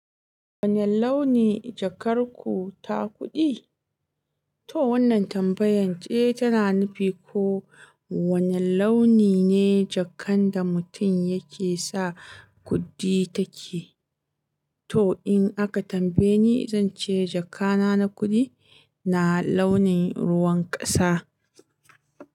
Wane launi jakar ku ta kuɗi? To wannan tambayan ce tana nufi ko wane launi ne jakan da mutum yake sa kuɗi take. To in aka tambaye ni, zan ce jaka na kuɗi na launin ruwan ƙasa.